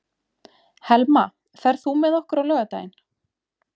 Helma, ferð þú með okkur á laugardaginn?